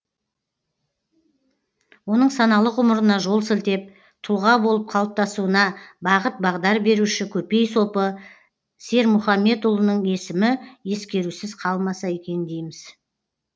оның саналы ғұмырына жол сілтеп тұлға болып қалыптасуына бағыт бағдар беруші көпей сопы сермұхаммедұлының есімі ескерусіз қалмаса екен дейміз